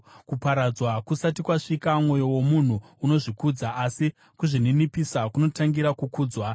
Kuparadzwa kusati kwasvika, mwoyo womunhu unozvikudza, asi kuzvininipisa kunotangira kukudzwa.